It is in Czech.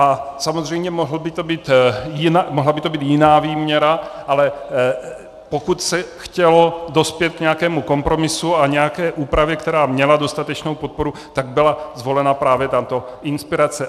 A samozřejmě mohla by to být jiná výměra, ale pokud se chtělo dospět k nějakému kompromisu a nějaké úpravě, která měla dostatečnou podporu, tak byla zvolena právě tato inspirace.